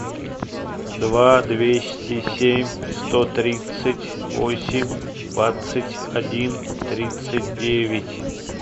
два двести семь сто тридцать восемь двадцать один тридцать девять